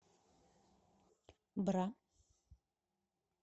бра